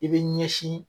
I b'i ɲɛsin